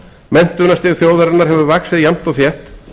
menntunarstig þjóðarinnar hefur vaxið jafnt og þétt